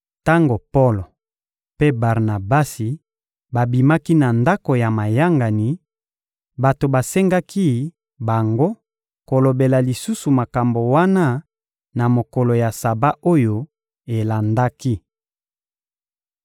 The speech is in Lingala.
Tango Polo mpe Barnabasi babimaki na ndako ya mayangani, bato basengaki bango kolobela lisusu makambo wana na mokolo ya Saba oyo elandaki.